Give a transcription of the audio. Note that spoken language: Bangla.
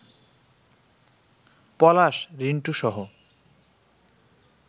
পলাশ, রিন্টুসহ